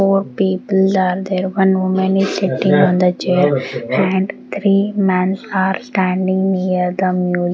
four people are there one women is sitting on the chair and three mens are standing near the --